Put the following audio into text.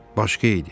Başqa idi.